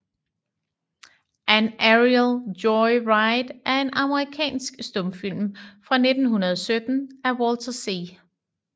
An Aerial Joy Ride er en amerikansk stumfilm fra 1917 af Walter C